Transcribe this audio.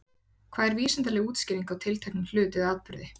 Hvað er vísindaleg útskýring á tilteknum hlut eða atburði?